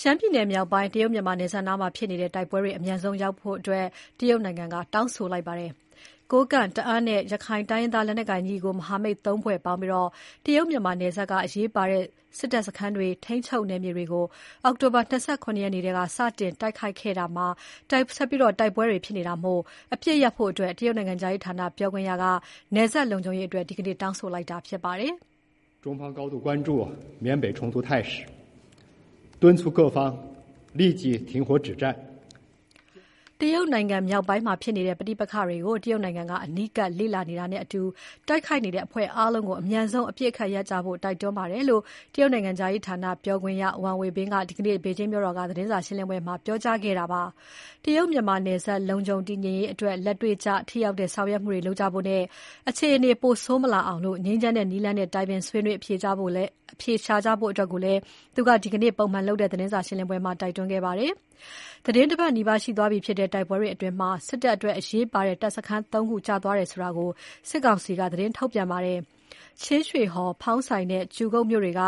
ရှမ်းပြည်နယ်မြောက်ပိုင်း တရုတ် မြန်မာနယ်စပ်နားမှာဖြစ်နေတဲ့ တိုက်ပွဲတွေ အမြန်ဆုံးရပ်ဖို့ တရုတ်နိုင်ငံက တောင်းဆိုလိုက်ပါတယ်။ ကိုးကန့်၊ တအာင်းနဲ့ ရက္ခိုင်တိုင်းရင်းသား လက်နက်ကိုင်ညီနောင် မဟာမိတ် ၃ ဖွဲ့ပေါင်းပြီး တရုတ် မြန်မာနယ်စပ်က အရေးပါတဲ့ စစ်တပ်စခန်းတွေ ထိန်းချုပ်နယ်မြေတွေကို အောက်တိုဘာ ၂၇ ရက်နေ့မှာ စတင် တိုက်ခိုက်ခဲ့ပြီးကတည်းက တိုက်ပွဲတွေဖြစ်နေတာမို့ အပစ်ရပ်ဖို့ တရုတ်နိုင်ငံခြားရေးဌာန ပြောခွင့်ရက နယ်စပ်လုံခြုံရေးအတွက် ဒီနေ့ တောင်းဆိုလိုက်တာဖြစ်ပါတယ်။ မြန်မာနိုင်ငံမြောက်ပိုင်းမှာဖြစ်နေတဲ့ ပဋိပက္ခတွေကို တရုတ်နိုင်ငံက အနီးကပ်လေ့လာနေတာနဲ့အတူ တိုက်ခိုက်နေတဲ့အဖွဲ့အားလုံးကို အမြန်ဆုံး အပစ်အခတ်ရပ်ကြဖို့ တိုက်တွန်းပါတယ်လို့ တရုတ်နိုင်ငံခြားရေးဌာန ပြောခွင့်ရ Wang Wenbin က ဒီကနေ့ ဘေဂျင်းမြို့တော်က သတင်းစာရှင်းလင်းပွဲမှာ ပြောကြားခဲ့တာဖြစ်ပါတယ်။ တရုတ်မြန်မာနယ်စပ် လုံခြုံတည်ငြိမ်ရေးအတွက် လက်တွေ့ကျ၊ ထိရောက်တဲ့ဆောင်ရွက်မှုတွေ လုပ်ကြဖို့နဲ့ အခြေအနေ ပိုဆိုးမလာအောင် ငြိမ်းချမ်းတဲ့နည်လမ်းနဲ့ တိုင်ပင်၊ ဆွေးနွေး အဖြေရှာကြဖို့လည်း သူကဒီနေ့လုပ်တဲ့ ပုံမှန်သတင်းစာရှင်းပွဲမှာ တိုက်တွန်းခဲ့ပါတယ်။ သီတင်း ၁ ပတ်နီးပါးရှိသွားပြီဖြစ်တဲ့ တိုက်ပွဲတွေအတွင်း စစ်တပ်အတွက်အရေးပါတဲ့ တပ်စခန်း ၃ ခုကျသွားတယ်ဆိုတာကို စစ်ကောင်စီက သတင်းထုတ်ပြန်ထားပါတယ်။ ချင်းရွှေဟော်၊ ဖောင်းဆိုင်နဲ့ ကျူဂုတ်မြို့တွေက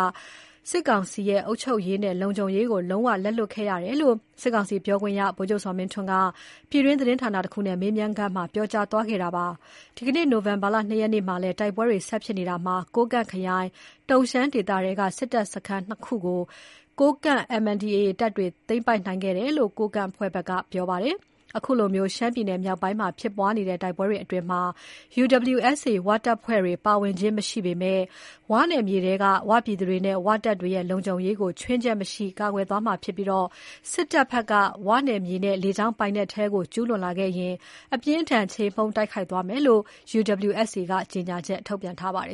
စစ်ကောင်စီရဲ့ အုပ်ချုပ်ရေးနဲ့ လုံခြုံရေးကို လုံးဝ လက်လွှတ်ခဲ့ရတယ်လို့ စစ်ကောင်စီပြောခွင့်ရ ဗိုလ်ချုပ်ဇော်မင်းထွန်းက ပြည်တွင်းသတင်းဌာနတခုနဲ့ မေးမြန်းခန်းမှာ ပြောကြားသွားခဲ့ပါတယ်။ ဒီနေ့နိုဝင်ဘာ ၂ ရက်နေ့မှာလည်း တိုက်ပွဲတွေ ဆက်ဖြစ်နေတာမှာ ကိုးကန့်ခရိုင် ၊ တုန်ရှမ်းဒေသထဲက စစ်တပ်စခန်းနှစ်ခုကို MNDAA ကိုးကန့်တပ်တွေ သိမ်းပိုက်ခဲ့တယ်လို့ ကိုးကန့် သတင်းဌာနက ထုတ်ပြန်ပါတယ်။ ခုလို ရှမ်းပြည်မြောက်ပိုင်းမှာ ဖြစ်ပွားနေတဲ့ တိုက်ပွဲတွေအတွင်း UWSA ဝတပ်ဖွဲ့တွေ ပါဝင်ခြင်းမရှိပေမဲ့ ဝ နယ်မြေထဲက ဝ ပြည်သူတွေနဲ့ ဝ တပ်တွေရဲ့ လုံခြုံရေးကို ခြွင်းချက်မရှိကာကွယ်သွားမှာဖြစ်ပြီး စစ်တပ်ဘက်က ဝ နယ်မြေနဲ့ လေကြောင်းပိုင်နက်ထဲကို ကျူးလွန်လာခဲ့ရင် အပြင်းအထန် ချေမှုန်း တိုက်ခိုက်သွားမယ်လို့ WUSA က ကြေညာချက် ထုတ်ပြန်ထားပါတယ်